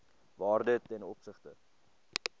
waarde ten opsigte